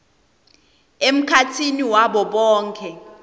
emkhatsini wabo bonkhe